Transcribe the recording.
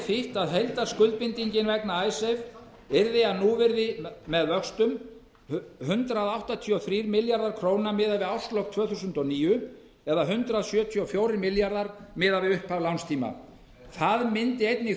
þýtt að heildarskuldbindingin vegna yrði að núvirði með vöxtum hundrað áttatíu og þrír milljarðar króna miðað við árslok tvö þúsund og níu eða hundrað sjötíu og fjórir milljarðar miðað við upphaf lánstíma það myndi einnig